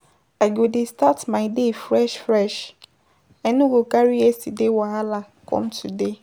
I go dey start my day fresh, fresh, I no go carry yesterday wahala com today.